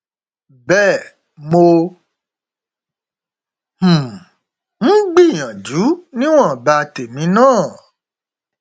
bẹ́ẹ̀ mo um ń gbìyànjú níwọnba tèmi náà